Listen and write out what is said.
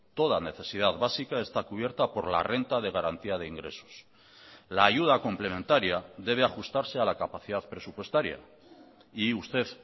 toda necesidad básica está cubierta por la renta de garantía de ingresos la ayuda complementaria debe ajustarse a la capacidad presupuestaria y usted